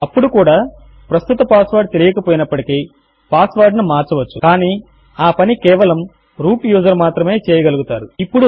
అప్పుడు కూడా ప్రస్తుత పాస్వర్డ్ తెలియక పోయినప్పటికీ పాస్వర్డ్ ను మార్చవచ్చు కానీ ఆ పని కేవలము రూట్ యూజర్ మాత్రమే చేయగలుగుతారు